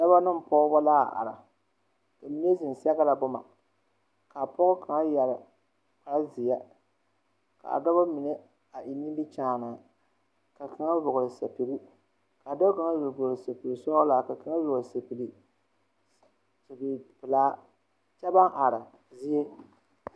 Dɔba ne pɔgeba la a are ka mine zeŋ sɛgrɛ boma ka pɔge kaŋa yɛre kparezeɛ ka dɔba mine a eŋ nimikyaane ka kaŋa vɔgle sapege ka dɔɔ kaŋa zeŋ vɔgle sapegesɔglaa ka kaŋa vɔgle sapege sapegepelaa kyɛ baŋ are zie.